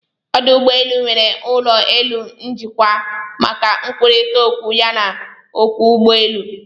Ọdụ ụgbọelụ nwere ụlọ elu njikwa maka ịkwụkọrịta okwu ya na ọkwọ ụgbọ èlụ̀